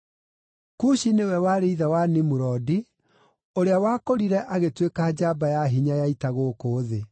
Kushi nĩwe warĩ ithe wa Nimurodi, ũrĩa wakũrire agĩtuĩka njamba ya hinya ya ita gũkũ thĩ.